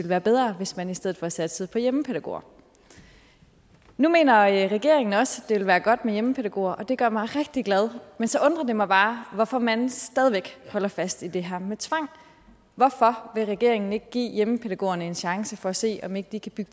være bedre hvis man i stedet for satsede på hjemmepædagoger nu mener regeringen også at det ville være godt med hjemmepædagoger og det gør mig rigtig glad men så undrer det mig bare hvorfor man stadig væk holder fast i det her med tvang hvorfor vil regeringen ikke give hjemmepædagogerne en chance for at se om ikke de kan